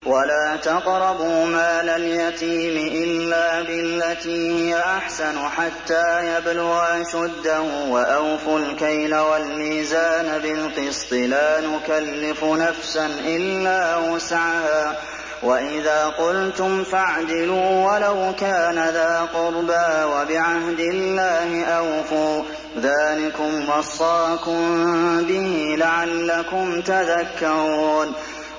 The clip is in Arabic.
وَلَا تَقْرَبُوا مَالَ الْيَتِيمِ إِلَّا بِالَّتِي هِيَ أَحْسَنُ حَتَّىٰ يَبْلُغَ أَشُدَّهُ ۖ وَأَوْفُوا الْكَيْلَ وَالْمِيزَانَ بِالْقِسْطِ ۖ لَا نُكَلِّفُ نَفْسًا إِلَّا وُسْعَهَا ۖ وَإِذَا قُلْتُمْ فَاعْدِلُوا وَلَوْ كَانَ ذَا قُرْبَىٰ ۖ وَبِعَهْدِ اللَّهِ أَوْفُوا ۚ ذَٰلِكُمْ وَصَّاكُم بِهِ لَعَلَّكُمْ تَذَكَّرُونَ